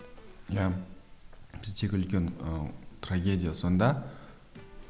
иә біздегі үлкен ы трагедия сонда